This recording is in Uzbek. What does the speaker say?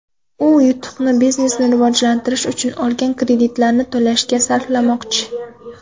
U yutuqni biznesini rivojlantirish uchun olgan kreditlarni to‘lashga sarflamoqchi.